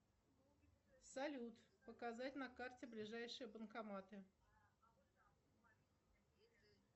салют показать на карте ближайшие банкоматы